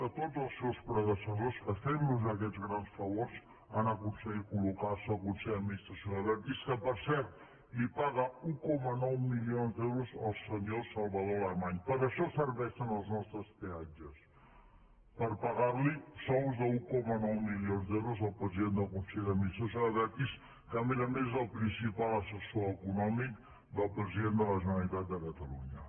a tots els seus predecessors que fent los aquests grans favors han aconseguit col·locar se al consell d’administració d’abertis que per cert li paga un coma nou milions d’euros al senyor salvador alemany per això serveixen els nostres peatges per pagar pagar li sous d’un coma nou milions d’euros al president del consell d’administració d’abertis que a més a més és el principal assessor econòmic del president de la generalitat de catalunya